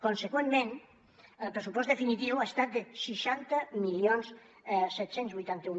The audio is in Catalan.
conseqüentment el pressupost definitiu ha estat de seixanta mil set cents i vuitanta un